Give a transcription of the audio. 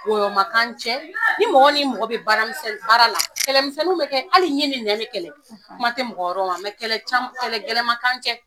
Wɔyɔ man k'an cɛ ni mɔgɔ ni mɔgɔ bɛ baara misɛnni bara la kɛlɛmisɛnni bɛ kɛ hali ɲi ni nɛ bɛ kɛlɛ kuma tɛ mɔgɔ wɛrɛw ma kɛlɛ caman kɛlɛ gɛlɛma